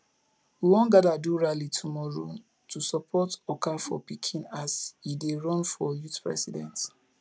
we wan gather do rally tomorrow to support okafor pikin as he dey run for youth president